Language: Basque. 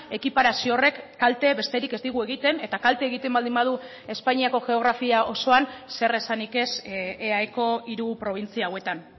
ekiparazio horrek kalte besterik ez digu egiten eta kalte egiten baldin badu espainiako geografia osoan zeresanik ez eaeko hiru probintzia hauetan